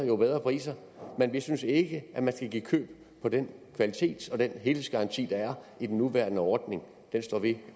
jo bedre priser men vi synes ikke at man skal give køb på den kvalitet og den helhedsgaranti der er i den nuværende ordning den står vi